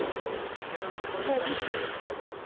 যেটা তুমি বললে পঞ্চাশ টাকা তে পাওয়া যাচ্ছে।